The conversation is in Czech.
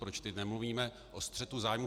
Proč teď nemluvíme o střetu zájmů?